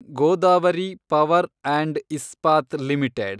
Godavari Power and Ispat limited